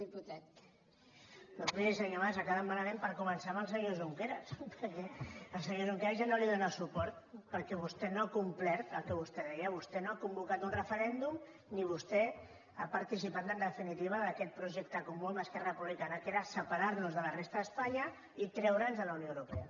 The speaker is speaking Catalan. doncs miri senyor mas ha acabat malament per començar amb el senyor junqueras perquè el senyor junqueras ja no li dóna suport perquè vostè no ha complert el que vostè deia vostè no ha convocat un referèndum ni vostè ha participat en definitiva d’aquest projecte comú amb esquerra republicana que era separar nos de la resta d’espanya i treure’ns de la unió europea